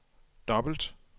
dobbelt